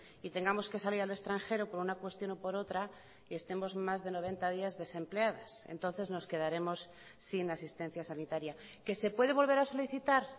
y tengamos que salir al extranjero por una cuestión o por otra y estemos más de noventa días desempleadas entonces nos quedaremos sin asistencia sanitaria qué se puede volver a solicitar